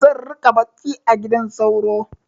Zan riƙa bacci a gidan sauro.